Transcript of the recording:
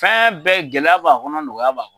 Fɛn bɛɛ gɛlɛya b'a kɔnɔ , nɔgɔya b'a kɔnɔ!